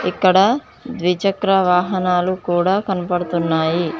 ఇక్కడ ద్విచక్ర వాహనాలు కూడా కనపడుతున్నాయి.